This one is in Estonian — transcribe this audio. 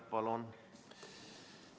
Palun!